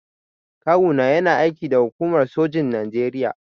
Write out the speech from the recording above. Kawu na yana aiki da hukumar sojin Naijeria.